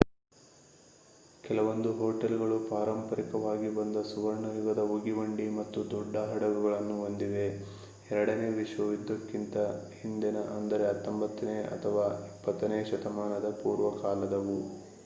ಕೆಲವೊಂದು ಹೊಟೇಲ್ಗಳು ಪಾರಂಪರಿಕವಾಗಿ ಬಂದ ಸುವರ್ಣ ಯುಗದ ಉಗಿಬಂಡಿ ಮತ್ತು ದೊಡ್ಡ ಹಡಗುಗಳನ್ನು ಹೊಂದಿವೆ ಎರಡನೇ ವಿಶ್ವ ಯುದ್ಧಕ್ಕಿಂತ ಹಿಂದಿನ ಅಂದರೆ 19ನೇ ಅಥವಾ 20ನೇ ಶತಮಾನದ ಪೂರ್ವಕಾಲದವು